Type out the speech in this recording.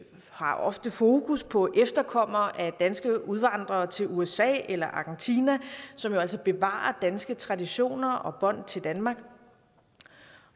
har ofte fokus på efterkommere af danske udvandrere til usa eller argentina som jo altså bevarer danske traditioner og bånd til danmark